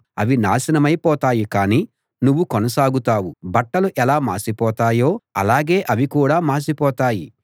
అవి నాశనమై పోతాయి కానీ నువ్వు కొనసాగుతావు బట్టలు ఎలా మాసిపోతాయో అలాగే అవి కూడా మాసిపోతాయి